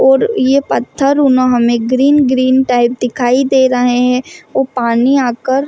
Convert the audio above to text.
और ये पत्थर उन्होंने ग्रीन ग्रीन टाइप दिखाई दे रहे हैं वो पानी आकर --